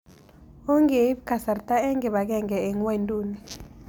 Ongeiip kasarta eng' kibagenge eng' ng'wonynduni